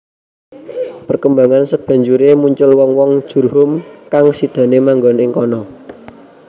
Perkembangan sabanjuré muncul wong wong Jurhum kang sidané manggon ing kana